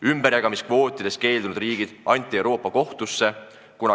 Ümberjagamiskvootidest keeldunud riigid anti Euroopa Kohtusse.